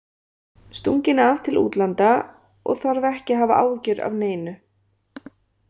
Stunginn af til útlanda og þarf ekki að hafa áhyggjur af neinu.